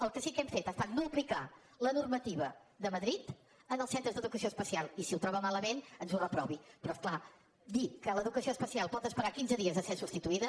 el que sí que hem fet ha estat no aplicar la normativa de madrid en els centres d’educació especial i si ho troba malament ens ho reprovi però és clar dir que l’educació especial pot esperar quinze dies a ser substituïda